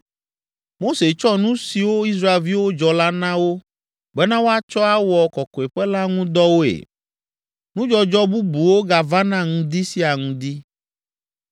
Mose tsɔ nu siwo Israelviwo dzɔ la na wo bena woatsɔ awɔ kɔkɔeƒe la ŋu dɔwoe. Nudzɔdzɔ bubuwo gavana ŋdi sia ŋdi.